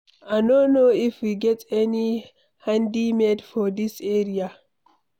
I no know if we get any handymen for dis area.